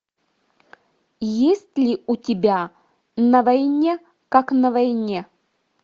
есть ли у тебя на войне как на войне